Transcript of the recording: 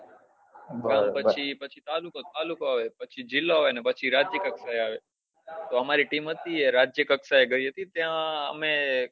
પછી તાલુકો આવે પછી જીલ્લો આવે ને પછી રાજય કક્ષા આવે તો અમારી team હતી ને એ રાજય કક્ષા એ ગઈ હતી ત્યાં અમે